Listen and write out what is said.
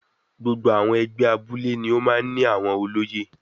Gbogbo àwọn ẹgbẹ́ abúlé ni ó máa ń ní àwọn olóyè.